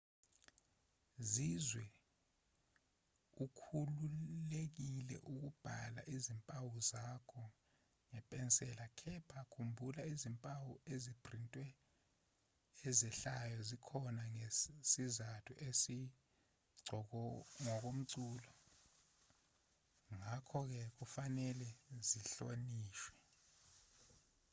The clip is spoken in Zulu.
zizwe ukhululekile ukubhala izimpawu zakho ngepensela kepha khumbula izimpawu eziphrintiwe ezehlayo zikhona ngesizathu esingokomculo ngakho-ke kufanele zihlonishwe